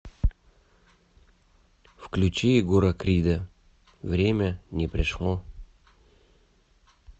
включи егора крида время не пришло